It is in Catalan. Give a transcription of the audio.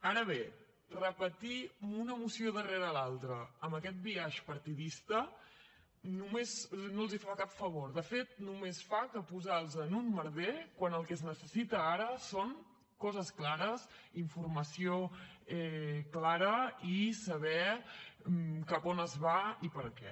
ara bé repetir una moció darrere l’altra amb aquest biaix partidista no els fa cap favor de fet només fa que posar los en un merder quan el que es necessita ara són coses clares informació clara i saber cap on es va i per què